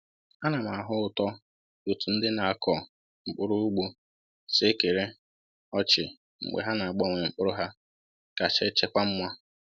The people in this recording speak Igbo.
A na m ahụ ụtọ otú ndị na-akọ mkpụrụ ugbo si ekere ọchị mgbe ha na-agbanwe mkpụrụ ha kacha echekwa mma.